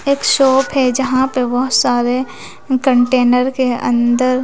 एक शॉप है जहां पे वह सारे कंटेनर के अंदर--